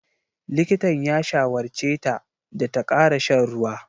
Likitan ya shawarce ta da ta ƙara shan ruwa.